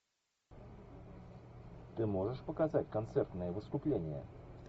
ты можешь показать концертное выступление